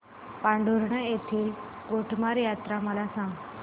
पांढुर्णा येथील गोटमार यात्रा मला सांग